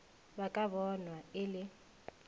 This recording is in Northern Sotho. ba ka bonwa e le